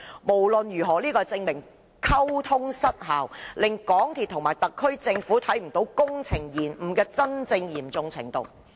無論屬何情況，溝通失效令港鐵公司和政府高層看不見工程延誤的真正嚴重程度。